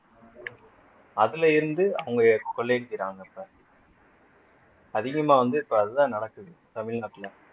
அதுல இருந்து அவங்க கொள்ளையடிக்கிறாங்க இப்ப அதிகமா வந்து இப்ப அதுதான் நடக்குது தமிழ்நாட்டுல